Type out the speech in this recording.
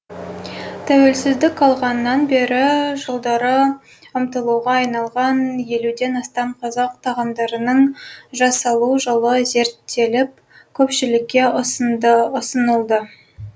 тәуелсіздік алғаннан бері жылдары ұмытылуға айналған елуден астам қазақ тағамдарының жасалу жолы зерттеліп көпшілікке ұсынылды